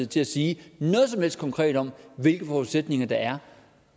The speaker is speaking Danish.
til at sige noget som helst konkret om hvilke forudsætninger der er